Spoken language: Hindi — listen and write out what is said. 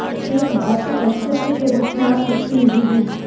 एक भौतिक अस्तित्व के रूप में आप कुछ भी नहीं हैं